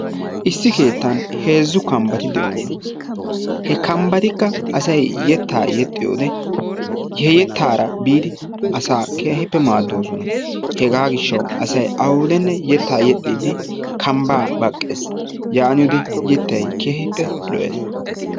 Issi keettan heezzu kambbati de"oosona. He kambbatikka asayi yettaa yexxiyode he yettaara biidi asaa keehippe maaddoosona. Hegaa gishshawu asay awudenne yettaa yexxiiddi kambbaa baqqes. Yaaniyode yettayi keehippe lo"es.